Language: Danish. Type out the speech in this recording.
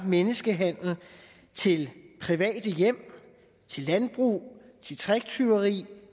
menneskehandel til private hjem til landbruget til tricktyveri